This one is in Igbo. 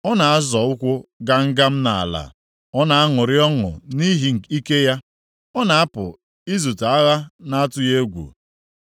Ọ na-azọ ụkwụ gam gam nʼala, ọ na-aṅụrị ọṅụ nʼihi ike ya, ọ na-apụ izute agha na-atụghị egwu.